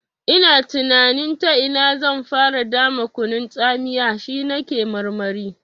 Ina tunanin ta ina zan fara dama kunun tsamiya, shi na ke marmari.